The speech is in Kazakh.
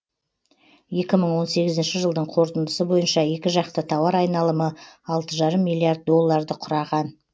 екі мың он сегізінші жылдың қорытындысы бойынша екіжақты тауар айналымы алты жарым миллиард долларды құраған